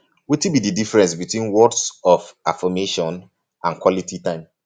um wetin be di difference between words of affirmation and quality time